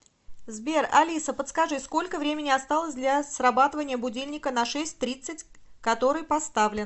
сбер алиса подскажи сколько времени осталось для срабатывания будильника на шесть тридцать который поставлен